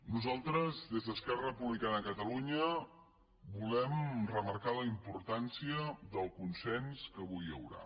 nosaltres des d’esquerra republicana de catalunya volem remarcar la importància del consens que avui hi haurà